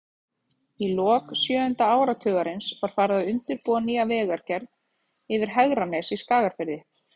Í lok sjöunda áratugarins var farið að undirbúa nýja vegagerð yfir Hegranes í Skagafirði.